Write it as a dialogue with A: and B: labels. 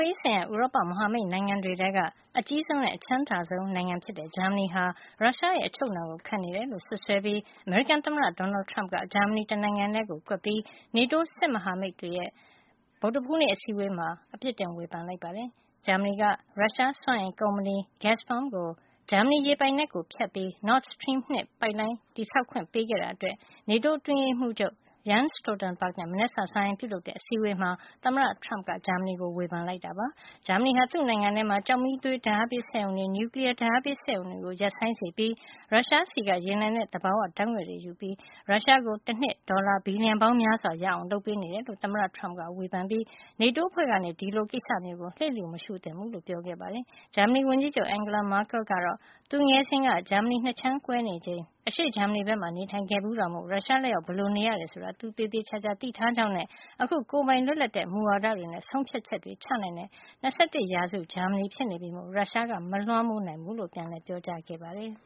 A: ေးဆိုင်ရာ ဥရောပ မဟာမိတ်နိုင်ငံတွေထဲက အကြီးဆုံးနဲ့ အချမ်းသာဆုံး နိုင်ငံဖြစ်တဲ့ ဂျာမနီဟာ ရုရှားရဲ့ အချုပ်အနှောင်ကို ခံနေတယ်လို့ စွပ်စွဲပြီး အမေရိကန် သမ္မတ Donald Trump က ဂျာမနီ တနိုင်ငံထဲကို ကွက်ပြီး NATO စစ်မဟာမိတ်တွေရဲ့ ဗုဒ္ဓဟူးနေ့ အစည်းအဝေးမှာ အပစ်တင် ဝေဖန်လိုက်ပါတယ်။ ဂျာမနီက ရုရှားစွမ်းအင်ကုမ္ပဏီ Gazprom ကို ဂျာမဏီရေပိုင်နက်ကို ဖြတ်ပြီး Nord Stream 2 ပိုက်လိုင်း တည်ဆောက်ခွင့် ပေးခဲ့တာအတွက် NATO အတွင်းရေးမှုးချုပ် Jens Stoltenberg နဲ့ မနက်စာစားရင်း ပြုလုပ်တဲ့ အစည်းအဝေးမှာ သမ္မတ Trump က ဂျာမနီကို ဝေဖန်ခဲ့တာ ဖြစ်ပါတယ်။ ဂျာမနီဟာ သူ့နိုင်ငံထဲမှာ ကျောက်မီးသွေးဓါတ်အားပေးစက်ရုံတွေ နျူကလီယား ဓါတ်အားပေး စက်ရုံတွေကို ရပ်ဆိုင်းစေပြီး ရုရှားဆီက ရေနံနဲ့ သဘာဝ ဓါတ်ငွေ့တွေယူကာ ရုရှားကို တနှစ် ဒေါ်လာ ဘီလျံပေါင်းများစွာ ရအောင် လုပ်ပေးနေတယ်လို့ သမ္မတ Trump က ဝေဖန်ခဲ့ပြီး NATO အဖွဲ့က ဒီကိစ္စမျိုးကို လျစ်လျူမရှုသင့်ကြောင်းပြောခဲ့တာပါ။ ဂျာမနီဝန်ကြီးချုပ် Angela Merkel ကလည်း သူငယ်စဉ်ဘဝ ဂျာမဏီ ၂ ခြမ်းကွဲနေချိန်က အရှေ့ဂျာမဏီဘက်မှာ နေထိုင်ခဲ့ဘူးတာမို့ ရုရှားလက်အောက်မှာ ဘယ်လိုနေရတယ် ဆိုတာကို သူသေသေချာချာ သိထားကြောင်းနဲ့ အခု ကိုယ်ပိုင် လွတ်လပ်တဲ့ မူဝါဒတွေနဲ့ ဆုံးဖြတ်ချက်တွေ ချနိုင်တဲ့ ၂၁ ရာစု ဂျာမဏီဖြစ်နေပြီမို့ ရုရှားကမလွှမ်းမိုးနိုင်ကြောင်း ပြန်လည်ပြောကြားခဲ့ပါတယ်။